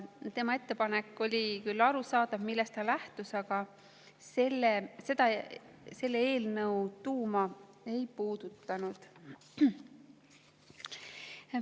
Oli küll arusaadav, millest ta lähtus ettepaneku, aga see eelnõu tuuma ei puudutanud.